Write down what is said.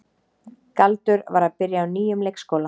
Galdur var að byrja á nýjum leikskóla.